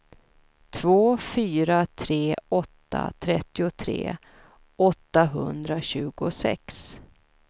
två fyra tre åtta trettiotre åttahundratjugosex